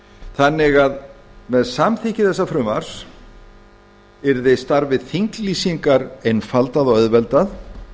þannig að með samþykki þessa frumvarps yrði starfi þinglýsingar einfaldað og auðveldað